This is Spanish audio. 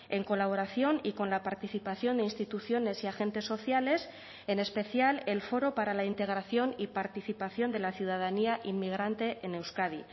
en colaboración y con la participación de instituciones y agentes sociales en especial el foro para la integración y participación de la ciudadanía inmigrante en euskadi